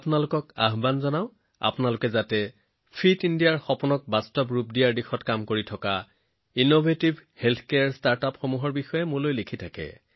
আপোনালোক সকলোকে অনুৰোধ কৰিছো যে ফিট ইণ্ডিয়াৰ সপোন বাস্তৱায়িত কৰিবলৈ মোক উদ্ভাৱনীমূলক স্বাস্থ্যসেৱা ষ্টাৰ্টআপৰ বিষয়ে লিখি থাকিব